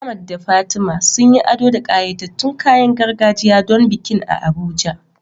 Ahmad da Fatima sun yi ado da ƙayatattun kayan gargajiya don bikin a Abuja.